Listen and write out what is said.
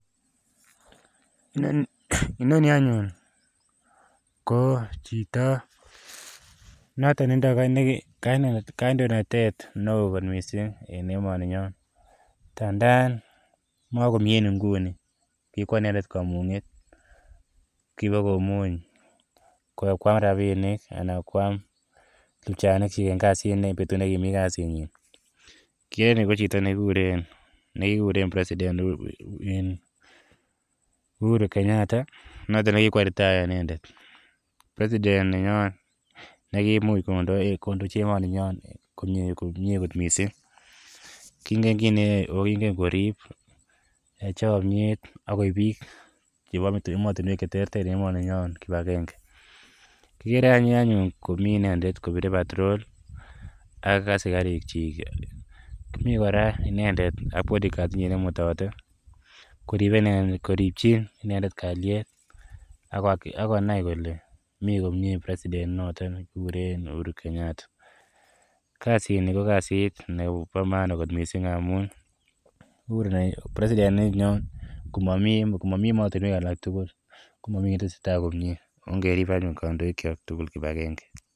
Inoni anyun ko chito notok notok ne tindai kandoinatet ne oo kot missing' en emaninyon ndandan makomi en inguni, kokowa inedet kamung'et. Kipa komuny kowa koam rapinik anan koam pchanik chik en kasit en petut ne kimi kasitnyi. Ni kikeren en yu ko chito ne kikuren Uhuru Kenyatta notok ne kikowa retire inendet. President ne nyo ne kiimuch kondochi emaninyo komye kot missing'. Kiingen kit neyae, ako kiingen korip chamyet akoip pik chepa ematunwek che terter emaninyo kip agenge. Kikere aby kopire patrol ak asikarikchik. Kimi kora inendet bodygurad ne imutati, koripchi inendet kalyet ak konai kole mi komye noton president ne kekure Uhuru Kenyatta. Kasini ko kasit nepo maana missing' amun president ne nyon ko mamu ematunwek tugul, ko mami ki ne tese tai, ongerip anyun kandoikchok tugul kip agenge.